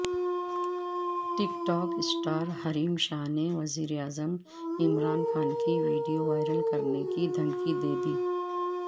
ٹک talk اسٹارحریم شاہ نے وزیراعظم عمران خان کی ویڈیو وائرل کرنے کی دھمکی دیدی